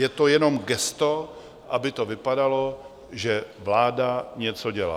Je to jenom gesto, aby to vypadalo, že vláda něco dělá.